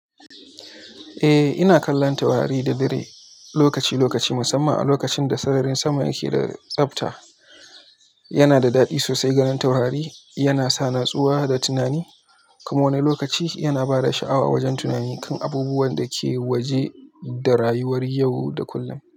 Eh, ina kallon taurari da dare lokaci-lokaci, musamman a lokacin da sararin sama yake da tsafta. Yana da daɗi sosai ganin taurari, yana sa natsuwa da tunani. Kuma wani lokaci yana ba da sha'awa wajen tunani kan abubuwan da ke waje da rayuwar yau da kullum.